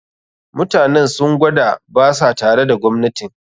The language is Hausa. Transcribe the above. Mutanen sun gwada ba sa tare da gwamnatin